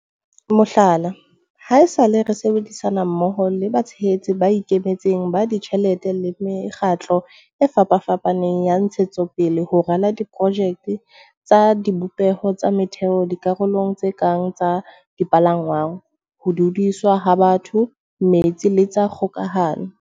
Mohlala, haesale re sebedi-sana mmoho le batshehetsi ba ikemetseng ba ditjhelete le mekgatlo e fapafapaneng ya ntshetsopele ho rala di-projeke tsa dibopeho tsa motheo dikarolong tse kang tsa dipalangwang, ho dudiswa ha batho, metsi le tsa kgoka-hano.